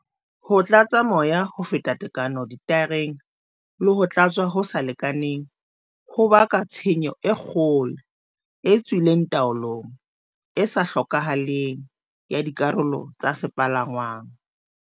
Ho tlatsa moya ho feta tekano dithaereng le ho tlatswa ho sa lekanang ho baka tshenyo e kgolo, e tswileng taolong, e sa hlokahaleng, ya dikarolo tsa sepalangwang.